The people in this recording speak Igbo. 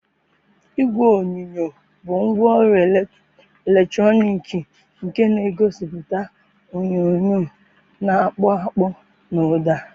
Igwe onyonyo bụ ngwaọrụ eletrọnịkị nke na-egosiputa onyonyo na-akpụ akpụ na ụda.